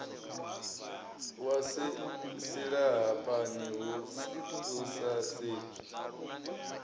wa silahapani hu sa sedzwi